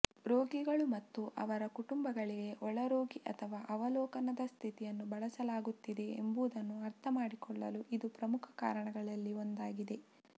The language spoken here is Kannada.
ರೋಗಿಗಳು ಮತ್ತು ಅವರ ಕುಟುಂಬಗಳಿಗೆ ಒಳರೋಗಿ ಅಥವಾ ಅವಲೋಕನದ ಸ್ಥಿತಿಯನ್ನು ಬಳಸಲಾಗುತ್ತಿದೆ ಎಂಬುದನ್ನು ಅರ್ಥಮಾಡಿಕೊಳ್ಳಲು ಇದು ಪ್ರಮುಖ ಕಾರಣಗಳಲ್ಲಿ ಒಂದಾಗಿದೆ